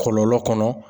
Kɔlɔlɔ kɔnɔ